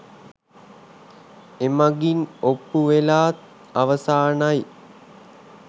එමඟින් ඔප්පු වෙලා අවසානයි .